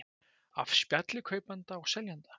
Af spjalli kaupanda og seljanda